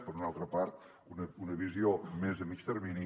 per una altra part una visió més a mitjà termini